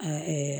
A